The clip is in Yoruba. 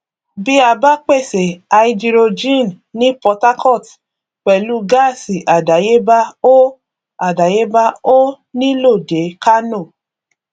bí a bá pèsè háídírójìn ní port harcourt pẹlú gáásì àdáyébá ó àdáyébá ó nílò dé kánò